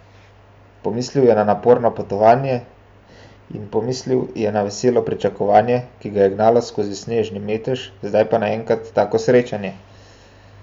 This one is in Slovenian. Pomislil je na naporno potovanje in pomislil je na veselo pričakovanje, ki ga je gnalo skozi snežni metež zdaj pa naenkrat tako srečanje!